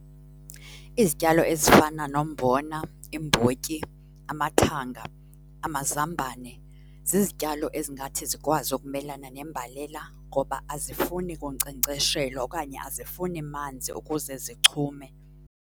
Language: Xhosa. Izityalo ezifana nombona, imbotyi, amathanga, amazambane zizityalo ezingathi zikwazi ukumelana nembalela ngoba azifuni kunkcenkceshelwa okanye azifuni manzi ukuze zichume.